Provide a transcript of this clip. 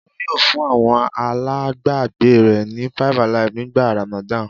Olú yóò fún àwọn alágbàágbé rẹ̀ ní 5-alive nígbà Ramadan.